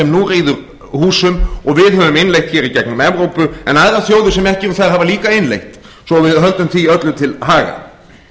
nú ríður húsum og við höfum innleitt hér í gegnum evrópu en aðrar þjóðir hafa líka innleitt svo að við höldum því öllu til haga